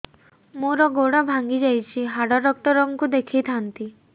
ମୋର ଗୋଡ ଭାଙ୍ଗି ଯାଇଛି ହାଡ ଡକ୍ଟର ଙ୍କୁ ଦେଖେଇ ଥାନ୍ତି